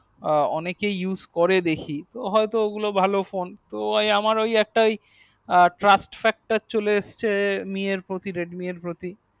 আ অনেকেই use করে দেখি হয়তো ঐগুলো ভালো phone তো আমার ওই ওই একটা ওই আ trust factor